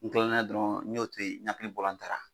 N dɔniya dɔrɔn n'o tɛ yen